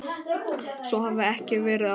Svo hafi ekki verið áður.